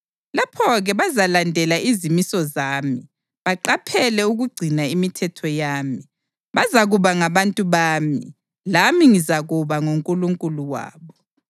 Lapho-ke bazalandela izimiso zami baqaphele ukugcina imithetho yami. Bazakuba ngabantu bami, lami ngizakuba nguNkulunkulu wabo.